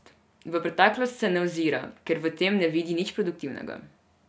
V preteklost se ne ozira, ker v tem ne vidi nič produktivnega.